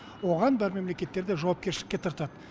оған бар мемлекеттерде жауапкершілікке тартады